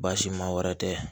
Baasi ma wɛrɛ tɛ